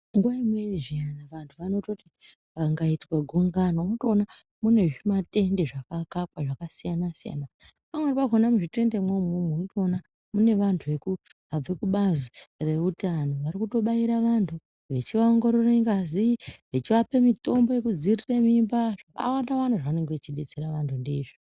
Nguwa imweni zviyana vantu vanototi pangaitwa gungano unotoona mune zvimatende zvakakakwa zvakasiyana-siyana. Pamweni pakhona muzvitende mwomwomwo unotoona mune vantu vabve kubazi reutano varikutobaira, vantu vachivaongorore ngazi, vachivape mitombo yekudzivirira mimba. Zvakawandawanda zvavanenge vechidetsera vantu ndizvo.